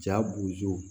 Ja b'u jɔ